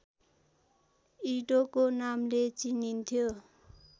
इडोको नामले चिनिन्थ्यो